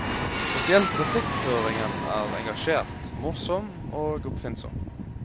Spesielt replikkføringen er engasjert, morsom og oppfinnsom.